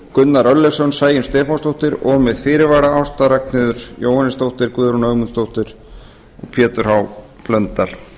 gunnar örlygsson sæunn stefánsdóttir og með fyrirvara ásta ragnheiður jóhannesdóttir guðrún ögmundsdóttir og pétur h blöndal